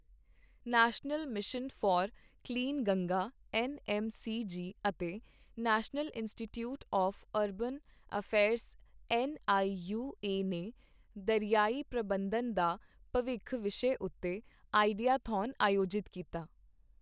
national mission for clean Ganga N M C G ਅਤੇ national institute of urban affairs N I U A ਨੇ ਦਰਿਆਈ ਪ੍ਰਬੰਧਨ ਦਾ ਭਵਿੱਖ ਵਿਸ਼ੇ ਉੱਤੇ ਆਈਡੀਆ-ਥੌਨ ਆਯੋਜਿਤ ਕੀਤਾ